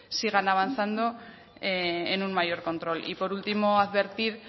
sigan avanzando en un mayor control y por último advertir